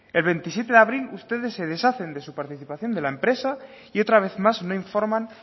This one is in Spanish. el veintisiete de abril ustedes se deshacen de su participación de la empresa y otra vez más no informan